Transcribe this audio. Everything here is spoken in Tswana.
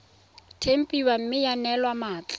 tempiwa mme ya neelwa mmatla